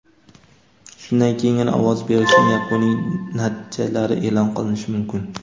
Shundan keyingina ovoz berishning yakuniy natijalari e’lon qilinishi mumkin.